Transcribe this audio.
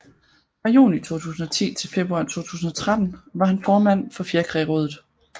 Fra juni 2010 til februar 2013 var han formand for Fjerkrærådet